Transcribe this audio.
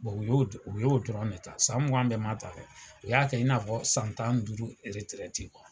Bon u y'o dɔrɔnw de ta, san mugan bɛɛ ma ta u fɛ, u y'a kɛ i n'a fɔ san tan ni duuru yɛrɛtrɛti kuwa.